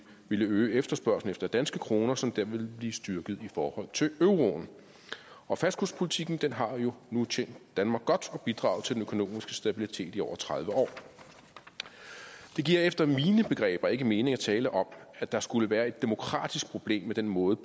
ville øge efterspørgslen efter danske kroner som dermed ville blive styrket i forhold til euroen og fastkurspolitikken har jo nu tjent danmark godt og bidraget til den økonomiske stabilitet i over tredive år det giver efter mine begreber ikke mening at tale om at der skulle være et demokratisk problem med den måde